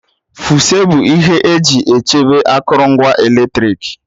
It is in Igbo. Fuse bụ ihe eji echebe akụrụngwa eletrik